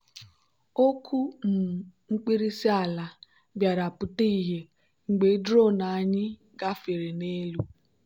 okwu um mkpirisi ala bịara pụta ìhè mgbe drone anyị gafere n'elu.